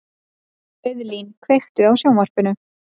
Auðlín, kveiktu á sjónvarpinu.